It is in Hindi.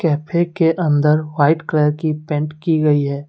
कैफे के अंदर वाइट कलर की पेंट की गई है।